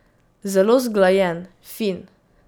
Zelo zglajen, fin.